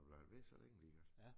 Blev han ved så længe lige godt?